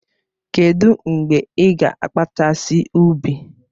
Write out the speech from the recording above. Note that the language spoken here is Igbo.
Kedụ mgbe ị ga-akpachasi ubi?